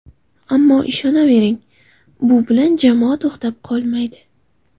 Ammo ishonavering, bu bilan jamoa to‘xtab qolmaydi.